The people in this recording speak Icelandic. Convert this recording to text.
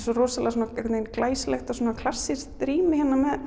svo rosalega glæsilegt og svona klassískt rými